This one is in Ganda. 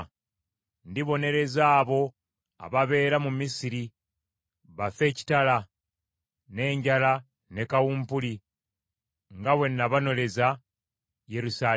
Ndibonereza abo ababeera mu Misiri, bafe ekitala, n’enjala ne kawumpuli, nga bwe nabonereza Yerusaalemi.